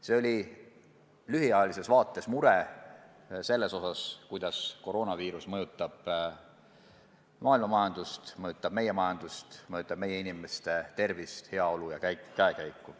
See oli lühiajalises vaates mure selle pärast, kuidas koroonaviirus mõjutab maailma majandust, mõjutab meie riigi majandust, mõjutab meie inimeste tervist, heaolu ja käekäiku.